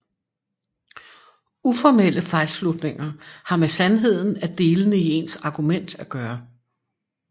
Uformelle fejlslutninger har med sandheden af delene i ens argument at gøre